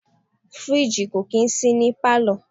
Fridge kò kì í sí ní palo.